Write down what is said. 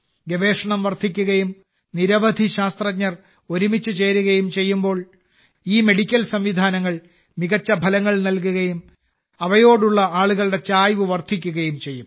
ഗവേഷണം വർദ്ധിക്കുകയും നിരവധി ശാസ്ത്രജ്ഞർ ഒരുമിച്ച് ചേരുകയും ചെയ്യുമ്പോൾ ഈ മെഡിക്കൽ സംവിധാനങ്ങൾ മികച്ച ഫലങ്ങൾ നൽകുകയും അവയോടുള്ള ആളുകളുടെ ചായ്വ് വർദ്ധിക്കുകയും ചെയ്യും